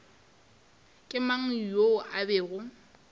ke mang yoo a bego